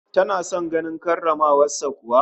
Tana son ganin karramawar sa kuwa?